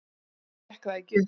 Svo gekk það ekki upp.